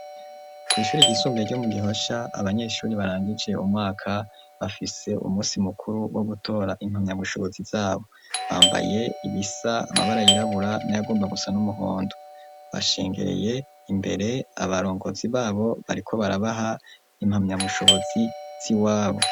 Kw'ishuri ryisumbuye ryo mu Gihosha, abanyeshuri barangije umwaka, bafise umunsi mukuru wo gutora impamyabushobozi z'abo. Bambaye ibisa, amabara yirabura n'ayagomba gusa n'umuhondo. Bashengereye imbere, abarongozi b'abo bariko barabaha impamyabushobozi z'iwabo.